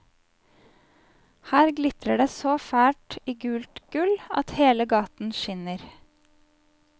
Her glitrer det så fælt i gult gull at hele gaten skinner.